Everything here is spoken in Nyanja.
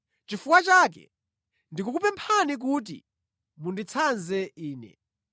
Chifukwa chake ndikukupemphani kuti munditsanze ine.